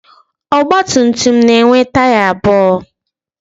Ọgbatumtum na-enwe taya abụọ.